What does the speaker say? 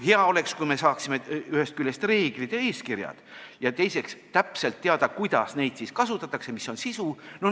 Hea oleks, kui me saaksime ühest küljest reeglid ja eeskirjad ning teiseks oleks täpselt teada, kuidas neid kasutatakse, mis on nende sisu.